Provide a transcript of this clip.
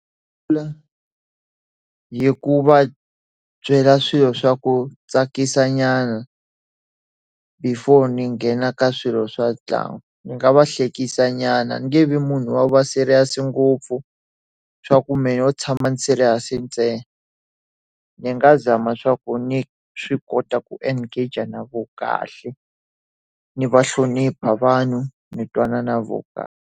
Hi ku va byela swilo swa ku tsakisa nyana before ni nghena ka swilo swa ntlangu. Ndzi nga va hlekisa nyana ni nge vi munhu wa ku va serious ngopfu, swa ku mehe no tshama ndzi ri serious ntsena. Ndzi nga zama swa ku ndzi swi kota ku engage na vona kahle, ndzi va hlonipha vanhu, ndzi twana na vona kahle.